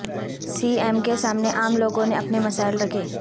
سی ایم کے سامنے عام لوگوں نے اپنے مسائل رکھے